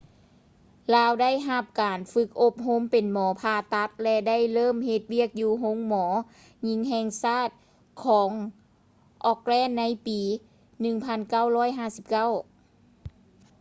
ລາວໄດ້ຮັບການຝຶກອົບຮົມເປັນໝໍຜ່າຕັດ ແລະ ໄດ້ເລີ່ມເຮັດວຽກຢູ່ໂຮງໝໍຍິງແຫ່ງຊາດຂອງ auckland ໃນປີ 1959